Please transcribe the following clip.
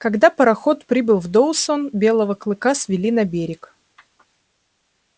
когда пароход прибыл в доусон белого клыка свели на берег